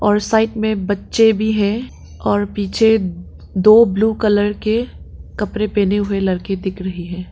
और साइड में बच्चे भी हैं और पीछे दो ब्ल्यू कलर के कपड़े पहने हुए लड़के दिख रहे हैं।